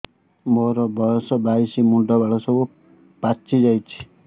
ମୋର ବୟସ ବାଇଶି ମୁଣ୍ଡ ବାଳ ସବୁ ପାଛି ଯାଉଛି